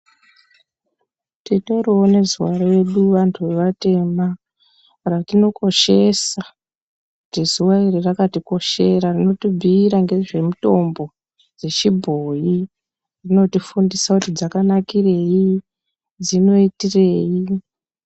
Titorivo nezuva redu antu evatema. Ratinokoshesa kuti zuva iri rakatikoshera rotibhuira ngezvemutombo dzechibhoi, rinotifundisa kuti dzakanakirei dzinoitirei